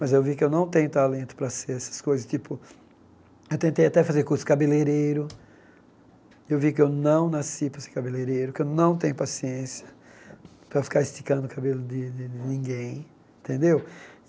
Mas eu vi que eu não tenho talento para ser essas coisas, tipo, eu tentei até fazer curso cabeleireiro, eu vi que eu não nasci para ser cabeleireiro, que eu não tenho paciência para ficar esticando o cabelo de ni ni ninguém, tendeu?